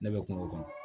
Ne bɛ kungo kɔnɔ